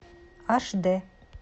аш дэ